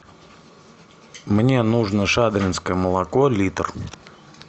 мне нужно шадринское молоко литр